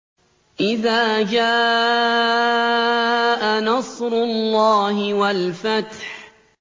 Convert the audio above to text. إِذَا جَاءَ نَصْرُ اللَّهِ وَالْفَتْحُ